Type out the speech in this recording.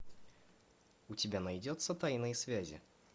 у тебя найдется тайные связи